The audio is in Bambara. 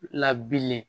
Labilen